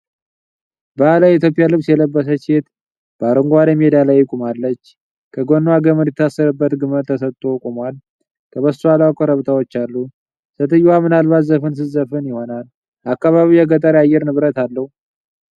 ባህላዊ የኢትዮጵያ ልብስ የለበሰች ሴት በአረንጓዴ ሜዳ ላይ ቆማለች። ከጎኗ ገመድ የታሰረበት ግመል ተሰጥቶ ቆሟል። ከበስተኋላ ኮረብታዎች አሉ። ሴትየዋ ምናልባት ዘፈን ትዘፍን ይሆናል። አካባቢው የገጠር አየር ንብረት አለው።